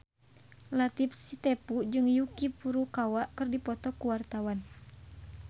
Latief Sitepu jeung Yuki Furukawa keur dipoto ku wartawan